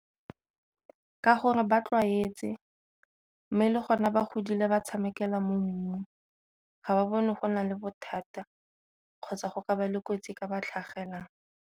Ka gore ba tlwaetse, mme le gona ba godile ba tshamekela mo mmung ga ba bone go na le bothata kgotsa go ka ba le kotsi e ka ba tlhagelang.